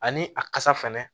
Ani a kasa fɛnɛ